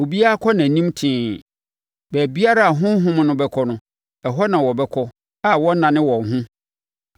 Obiara kɔ nʼanim tee. Baabiara a honhom no bɛkɔ no, ɛhɔ na wɔbɛkɔ a wɔnnane wɔn ho.